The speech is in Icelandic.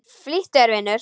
Flýttu þér, vinur.